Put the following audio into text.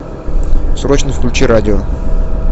срочно включи радио